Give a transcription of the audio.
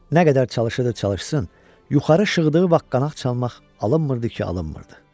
Nə qədər çalışırdı çalışsın, yuxarı şığıdığı vaxt qanad çalmaq alınmırdı ki, alınmırdı.